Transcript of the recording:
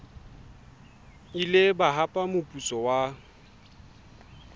ile ba hapa moputso wa